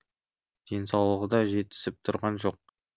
денсаулығы да жетісіп тұрған жоқ